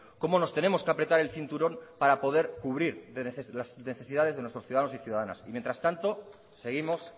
cómo nos tenemos que apretar el cinturón para poder cubrir las necesidades de nuestros ciudadanos y ciudadanas y mientras tanto seguimos